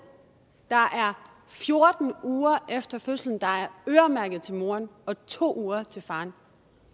der er fjorten uger efter fødslen der er øremærket til moren og to uger til faren